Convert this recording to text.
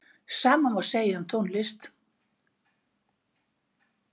Sama má segja um tónlist.